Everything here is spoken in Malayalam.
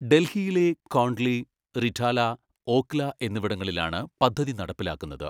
ഡൽഹിയിലെ കോണ്ഡ്ലി, റിഠാല, ഓഖ്ല എന്നിവിടങ്ങളിലാണ് പദ്ധതി നടപ്പിലാക്കുന്നത്.